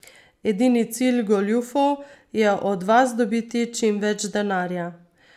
Edini cilj goljufov je od vas dobiti čim več denarja.